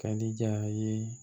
Ka diya ye